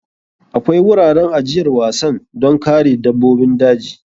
Akwai wuraren ajiyar wasan don kare dabbobin daji.